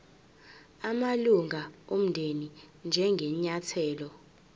amalunga omndeni njengenyathelo